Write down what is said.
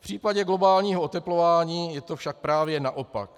V případě globálního oteplování je to však právě naopak.